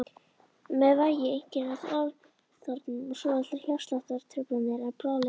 Með væg einkenni ofþornunar og svolitlar hjartsláttartruflanir en bráðlifandi.